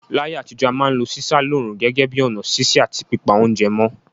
Láyé àtijọ́, a ma n lo sísá lóòrùn gẹ́gẹ́ bi ọ̀nà sise àti pípa ounje mó